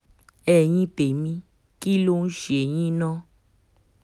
ẹ̀yin tèmi kí ló ń ṣe yín ná